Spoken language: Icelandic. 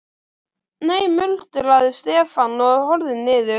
Nei muldraði Stefán og horfði niður.